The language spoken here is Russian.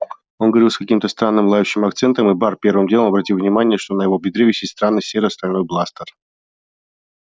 он говорил с каким-то странным лающим акцентом и бар первым делом обратил внимание что на его бедре висит странный серо-стальной бластер